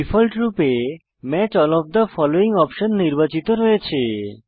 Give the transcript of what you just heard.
ডিফল্টরূপে match all of the following option নির্বাচিত রয়েছে